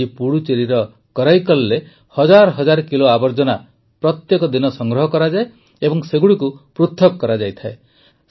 ଆଜି ପୁଡୁଚେରିର କରାଇକଲରେ ହଜାର ହଜାର କିଲୋ ଆବର୍ଜନା ପ୍ରତିଦିନ ସଂଗ୍ରହ କରାଯାଏ ଏବଂ ସେଗୁଡ଼ିକୁ ପୃଥକ୍ କରାଯାଏ